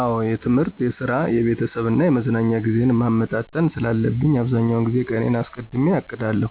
አዎ የትምህርት፣ የስራ፣ የቤተሰብ እና የመዝናኛ ጊዜዬን ማመጣጠን ስላለብኝ አብዛኛውን ጊዜ ቀኔን አስቀድሜ አቅዳለሁ።